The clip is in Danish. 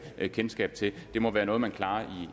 kendskab til det må være noget man klarer